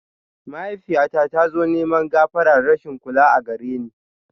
Mahaifiyyata tazo neman gafara rashin kula agareni